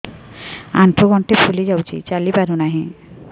ଆଂଠୁ ଗଂଠି ଫୁଲି ଯାଉଛି ଚାଲି ପାରୁ ନାହିଁ